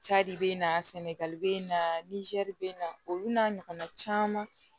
Ja de bɛ n na sɛnɛgali bɛ na nizɛri be na olu n'a ɲɔgɔnna caman